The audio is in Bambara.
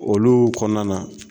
Olu kɔnɔna na